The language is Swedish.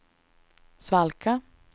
svalka